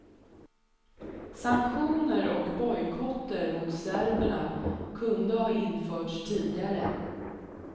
Sanktioner och bojkotter mot serberna kunde ha införts tidigare.